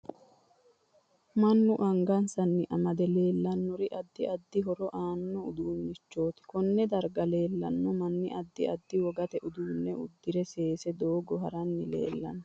Mannu angasanni amade leelannori addi addi horo aano uduunichooti konne darga leelanno manni addi addi wogate uddanno udire seese doogo haranni leelanno